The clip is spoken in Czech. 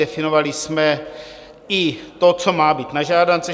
Definovali jsme i to, co má být na žádance.